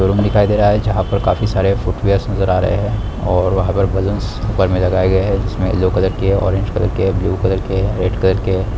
Showroom दिखाई दे रहा हैं जहां पे काफी सारे फूट वेयर्स नजर आ रहे हैं और वहां पर बैलून्स ऊपर मे लगाए गए हैं जिसमें येलो कलर किया ऑरेंज कलर किया ब्लू कलर किया हैं रेड कलर किया हैं।